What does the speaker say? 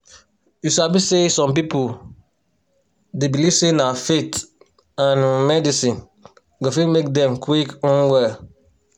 you sabi say some people dey believe say na faith and um medicine go fit make dem quick um well.